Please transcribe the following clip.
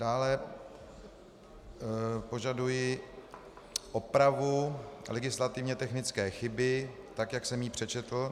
Dále požaduji opravu legislativně technické chyby, tak jak jsem ji přečetl.